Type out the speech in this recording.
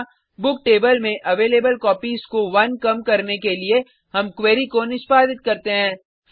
यहाँ books table में available copies को 1 कम करने के लिए हम क्वेरी को निष्पादित करते हैं